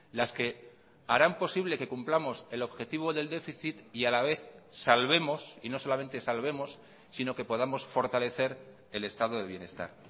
las que harán posible que cumplamos el objetivo del déficit y a la vez salvemos y no solamente salvemos sino que podamos fortalecer el estado de bienestar